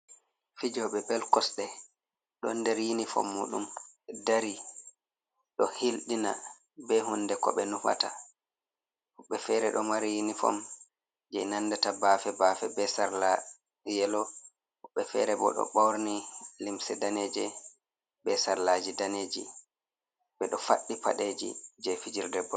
Fijobe bel kosde don der yinifom mudum dari do hildina be hunde ko be nufata hube fere do mari yinifom je nandata bafe bafe be sarla yelo hubbe fere bo do borni limsi daneje be sarlaji daneji be do faddi padeji je fijirde bol.